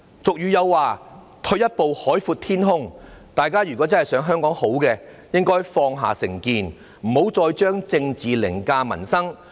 俗語有云："退一步海闊天空"，大家如果真的想香港好，就應該放下成見，不要再將政治凌駕民生。